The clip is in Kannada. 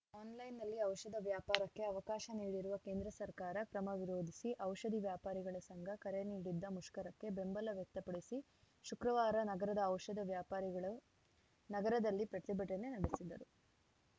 ಆನ್‌ಲೈನ್‌ನಲ್ಲಿ ಔಷಧ ವ್ಯಾಪಾರಕ್ಕೆ ಅವಕಾಶ ನೀಡಿರುವ ಕೇಂದ್ರ ಸರ್ಕಾರ ಕ್ರಮ ವಿರೋಧಿಸಿ ಔಷಧಿ ವ್ಯಾಪಾರಿಗಳ ಸಂಘ ಕರೆ ನೀಡಿದ್ದ ಮುಷ್ಕರಕ್ಕೆ ಬೆಂಬಲ ವ್ಯಕ್ತಪಡಿಸಿ ಶುಕ್ರವಾರ ನಗರದ ಔಷಧ ವ್ಯಾಪಾರಿಗಳು ನಗರದಲ್ಲಿ ಪ್ರತಿಭಟನೆ ನಡೆಸಿದರು